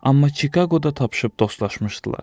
Amma Chicagoda tapışıb dostlaşmışdılar.